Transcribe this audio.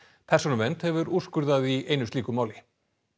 persónuvernd hefur úrskurðað í einu slíku máli